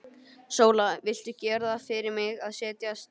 Sóla, viltu gera það fyrir mig að setjast!